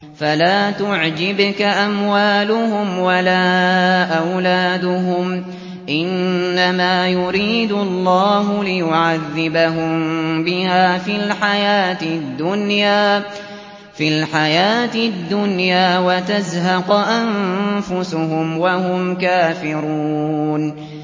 فَلَا تُعْجِبْكَ أَمْوَالُهُمْ وَلَا أَوْلَادُهُمْ ۚ إِنَّمَا يُرِيدُ اللَّهُ لِيُعَذِّبَهُم بِهَا فِي الْحَيَاةِ الدُّنْيَا وَتَزْهَقَ أَنفُسُهُمْ وَهُمْ كَافِرُونَ